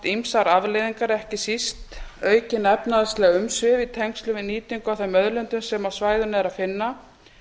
ýmsar afleiðingar ekki síst aukin efnahagsleg umsvif í tengslum við nýtingu á þeim auðlindum sem á svæðinu er að finna